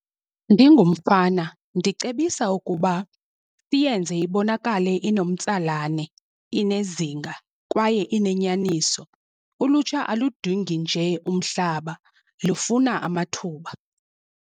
Ndingumfana ndicebisa ukuba siyenze ibonakale inomtsalane inezinga kwaye inenyaniso. Ulutsha aludingi nje umhlaba lufuna amathuba.